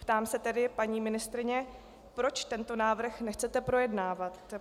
Ptám se tedy, paní ministryně: Proč tento návrh nechcete projednávat?